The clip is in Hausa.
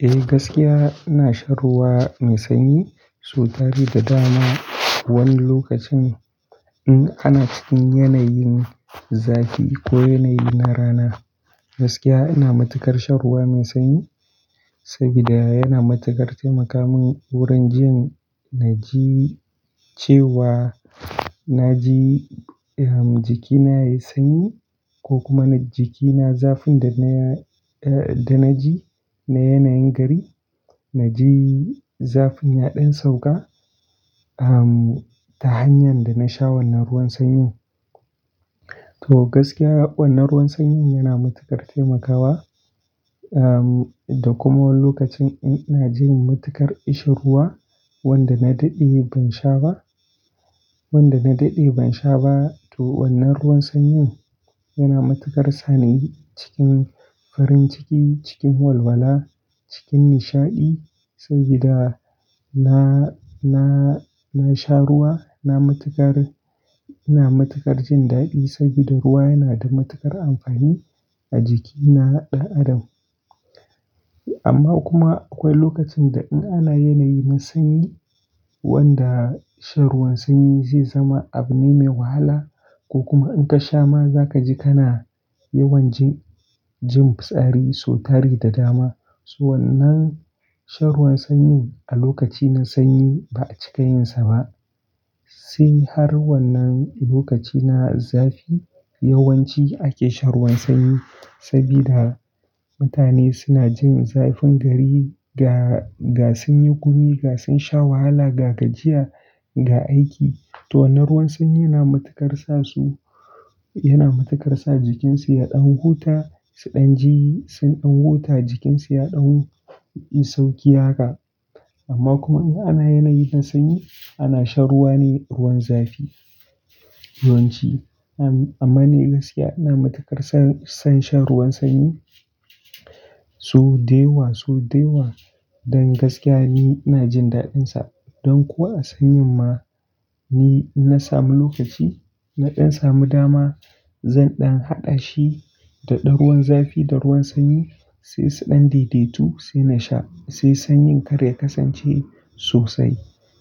Eh, gaskiya ina shan ruwa mai sanyi sau tari da dama. Wani lokacin in ana cikin yanayin zafi ko yanayi na rana, gaskiya ina matukar shan ruwa mai sanyi sabida yana matukar taimakamun wurin jin na ji cewa na ji, ehm, jikina yayi sanyi ko kuma na jiki na zafin da na, eh, da na ji na yanayin gari. Na ji zafin ya ɗan sauƙa, ehm, ta hanyar da na sha wannan ruwan sanyin. To gaskiya wannan ruwan sanyin yana matukar taimakawa, ehm, da kuma wani lokacin in ina jin matukar ishi ruwa wanda na daɗe ban sha ba, wanda na daɗe ban sha ba to wannan ruwan sanyin yana matukar sa ni cikin farin ciki, cikin walwala, cikin nishaɗi sabida na na na sha ruwa na matukar ina matukar jin dadi sabida ruwa ya nada matukar amfani a jiki na dan adam. Amma kuma akwai lokacin da in ana yanayi na sanyi wanda shan ruwan sanyi zai zama abu ne mai wahala ko kuma in ka sha ma za ka ji kana yawan jin, jin fitsari sau tari da dama. So wannan shan ruwan sanyin a lokaci na sanyi ba'a cika yin sa ba. Sai har wannan lokaci na zafi yawanci ake shan ruwan sanyi sabida mutane suna jin zafin gari ga, ga sun yi gumi, ga sun sha wahala, ga gajiya, ga aiki. To wannan ruwan sanyi yana matukar sa su, yana matukar sa jikinsu ya ɗan huta, su ɗan ji sun ɗan huta jikinsu ya ɗan yi sauƙi haka. Amma kuma in ana yanayi na sanyi ana shan ruwa ne ruwan zafi yawanci. Am-amma ni gaskiya ina matukar son, son shan ruwan sanyi. So dewa, so dewa dan gaskiya ni ina jin daɗin sa. Don ko a sanyin ma. Ni in na samu lokaci, na ɗan samu dama zan ɗan haɗa shi da ɗan ruwan zafi da ruwan sanyi sai su ɗan daidaitu sai na sha. Sai sanyin kar ya kasance sosai